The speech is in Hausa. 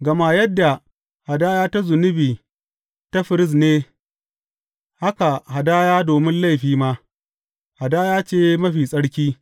Gama yadda hadaya ta zunubi ta firist ne, haka hadaya domin laifi ma, hadaya ce mafi tsarki.